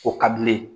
O ka di ne ye